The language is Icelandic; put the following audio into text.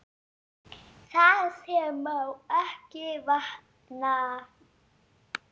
Það sem má ekki vanta!